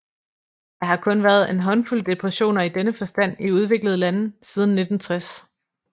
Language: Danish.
Der har kun været en håndfuld depressioner i denne forstand i udviklede lande siden 1960